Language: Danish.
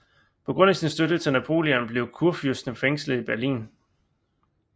På grund af sin støtte til Napoleon blev kurfyrsten fængslet i Berlin